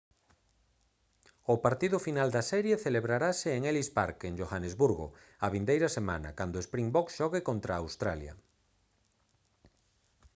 o partido final da serie celebrarase en ellis park en johannesburgo a vindeira semana cando springboks xogue contra australia